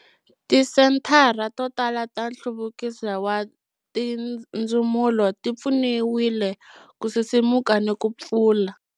Tisenthara to tala ta Nhluvukiso wa Tindzumulo ti pfuniwile ku sisimuka ni ku pfula.